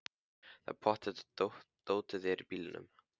Það er pottþétt að dótið er í bílnum!